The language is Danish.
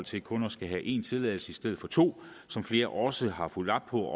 til kun at skulle have en tilladelse i stedet for to som flere også har fulgt op på